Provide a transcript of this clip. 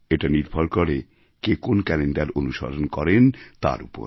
এটা নির্ভর করে কে কোন ক্যালেণ্ডার অনুসরণ করেন তার উপর